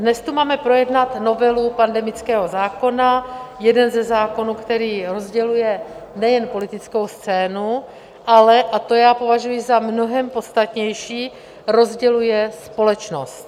Dnes tu máme projednat novelu pandemického zákona, jeden ze zákonů, který rozděluje nejen politickou scénu, ale, a to já považuji za mnohem podstatnější, rozděluje společnost.